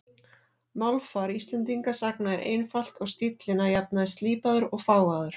Málfar Íslendingasagna er einfalt og stíllinn að jafnaði slípaður og fágaður.